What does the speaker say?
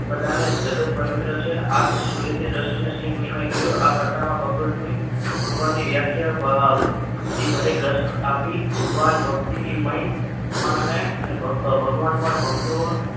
જગત પવિત્ર છે અને સૂરજની દ્રષ્ટિને શ્રીકૃષ્ણએ કહ્યું કે આ કથામાં ભગવદની ભગવાનની વ્યાખ્યા શ્રી ભારેરસ આપી ભગવાન ભક્તિથી મળે અને ભગવાન પણ ભક્તો